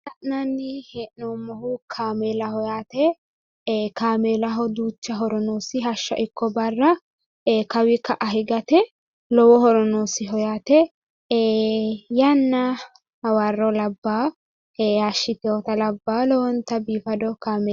La'nanni hee'noommohu kaameelaho yaate, kaameelaho duucha horo noosiho hashsha ikko barra kawi ka'a higate lowo horo noosiho yaate, yaanna hawarro labbawo hashshiteewota labbawo lowonta biifado kaameela.